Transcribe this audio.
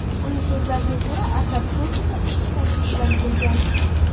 Uning so‘zlariga ko‘ra, Asad Sochiga ishchi tashrif bilan kelgan.